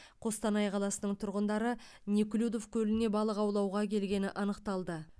қостанай қаласының тұрғындары неклюдов көліне балық аулауға келгені анықталды